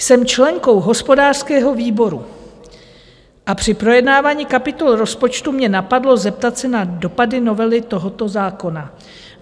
Jsem členkou hospodářského výboru a při projednávání kapitol rozpočtu mě napadlo zeptat se na dopady novely tohoto zákona.